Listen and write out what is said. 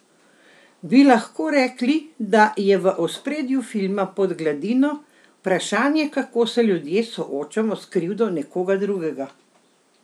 Bi lahko rekli, da je v ospredju filma Pod gladino vprašanje, kako se ljudje soočamo s krivdo nekoga drugega?